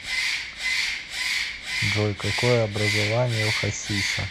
джой какое образование у хасиса